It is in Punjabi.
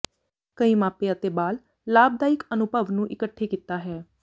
ਕਈ ਮਾਪੇ ਅਤੇ ਬਾਲ ਲਾਭਦਾਇਕ ਅਨੁਭਵ ਨੂੰ ਇਕੱਠੇ ਕੀਤਾ ਹੈ